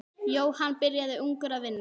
Jóhann byrjaði ungur að vinna.